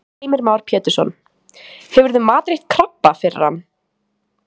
Heimir Már Pétursson: Hefurðu matreitt krabba fyrir hann?